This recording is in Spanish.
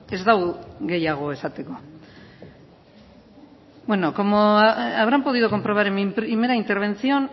ez dago gehiago esateko como habrán podido comprobar en mi primera intervención